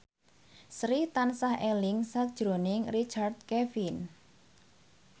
Sri tansah eling sakjroning Richard Kevin